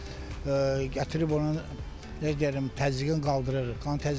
Gətirib onun nə bilim təzyiqini qaldırır, qan təzyiqini salır.